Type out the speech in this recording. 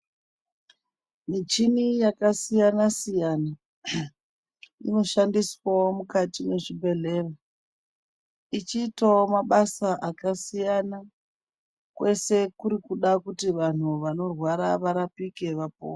Michini yakasiyana-siyana inoshandiswawo mukati mwechibhedhlera, ichiitawo mabasa akasiyana, kwese kuti kuda kuti vanhu vanorwara varapike vapore.